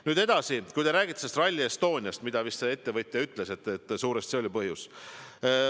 Nüüd edasi, te räägite Rally Estoniast, mille kohta vist see ettevõtja ütles, et suuresti see oli põhjus.